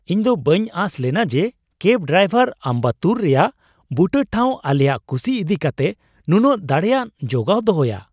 ᱤᱧᱫᱚ ᱵᱟᱹᱧ ᱟᱸᱥᱞᱮᱱᱟ ᱡᱮ ᱠᱮᱵ ᱰᱟᱭᱵᱷᱟᱨ ᱟᱢᱵᱟᱛᱛᱩᱨ ᱨᱮᱭᱟᱜ ᱵᱩᱴᱟᱹ ᱴᱷᱟᱣ ᱟᱞᱮᱭᱟᱜ ᱠᱩᱥᱤ ᱤᱫᱤ ᱠᱟᱛᱮ ᱱᱩᱱᱟᱹᱜ ᱫᱟᱲᱮᱭᱟᱱ ᱡᱚᱜᱟᱣ ᱫᱚᱦᱚᱭᱟ ᱾